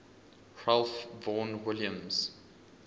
ralph vaughan williams